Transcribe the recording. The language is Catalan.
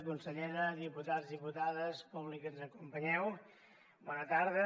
consellera diputats diputades públic que ens acompanyeu bona tarda